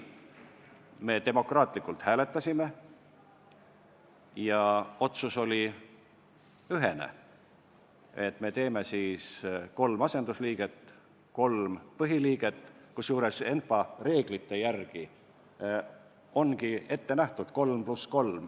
Me demokraatlikult hääletasime ja otsus oli ühene, et me pakume siis kolme asendusliiget ja kolme põhiliiget, kusjuures ENPA reeglite järgi ongi ette nähtud 3 + 3.